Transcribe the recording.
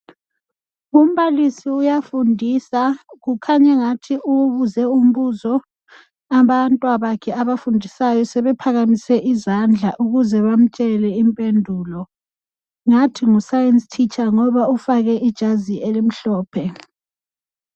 umbalisi uyafundisa kukhanya engathi ubuze umbuzo abantwabakhe abafundisayo sebephakamise izandla ukuze bamtshele imphendulo ngathi ngu science teacher ngoba ufake ijazi elimhlophe